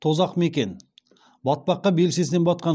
тозақ мекен батпаққа белшесінен батқан